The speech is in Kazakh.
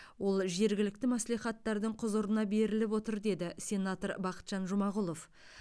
ол жергілікті мәслихаттардың құзырына беріліп отыр деді сенатор бақытжан жұмағұлов